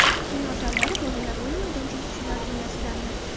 Kino zallari, bolalar o‘yin maydonchasi shular jumlasidandir.